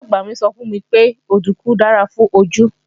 Ìyá-àgbà mi sọ fún mi pé òdùnkún dára fún ojú